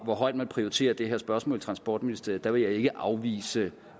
hvor højt man prioriterer det her spørgsmål i transportministeriet vil jeg ikke afvise